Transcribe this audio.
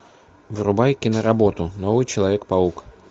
врубай киноработу новый человек паук